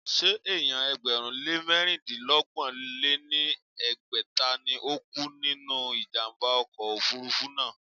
Ṣé èèyàn ẹgbẹ̀rún lé mẹ̀rindínọgbọ̀n lé ní ẹgbẹ́ta ni ó kú nínú ìjàmbá ọkọ̀ òfurufú náà?